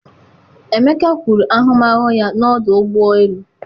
emeka kwuru ahụmahụ ya na ọdụ ụgbọ elu.